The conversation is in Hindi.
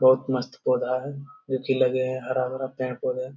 बहुत मस्त पौधा है नीचे लगे हैं हरा-भरा पेड़-पौधा है।